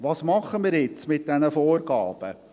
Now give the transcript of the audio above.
Was machen wir jetzt mit diesen Vorgaben?